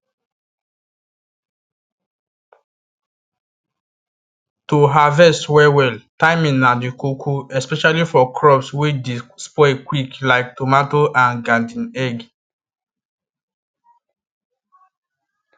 to harvest well well timing na the koko especially for crops wey dey spoil quick like tomato and garden egg